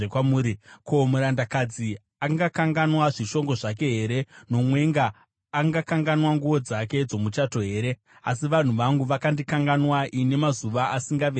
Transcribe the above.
Ko, murandakadzi angakanganwa zvishongo zvake here, nomwenga angakanganwa nguo dzake dzomuchato here? Asi vanhu vangu vakandikanganwa ini, mazuva asingaverengeki.